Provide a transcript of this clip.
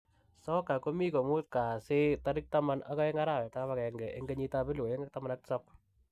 soka komi komut kasi 12.01.2017